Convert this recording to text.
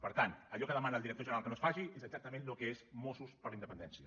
per tant allò que demana el director general que no es faci és exactament el que és mossos per la independència